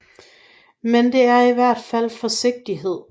Men det er i hvert fald forsigtighed